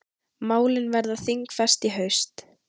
Málin verða þingfest í haust.